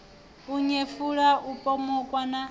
u nyefula u pomoka na